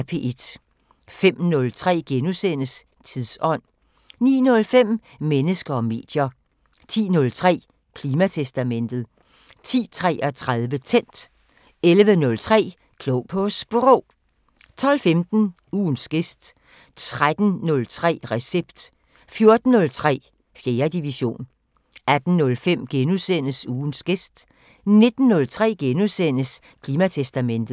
05:03: Tidsånd * 09:05: Mennesker og medier 10:03: Klimatestamentet 10:33: Tændt 11:03: Klog på Sprog 12:15: Ugens gæst 13:03: Recept 14:03: 4. division 18:05: Ugens gæst * 19:03: Klimatestamentet *